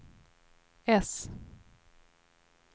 äss